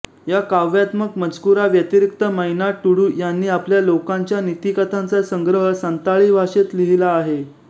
या काव्यात्मक मजकुराव्यतिरिक्त मैना टुडू यांनी आपल्या लोकांच्या नीतिकथांचा संग्रह संताळी भाषेत लिहिला आहे